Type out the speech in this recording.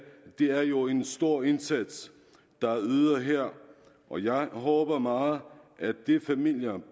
er det jo en stor indsats der er ydet her og jeg håber meget at de familier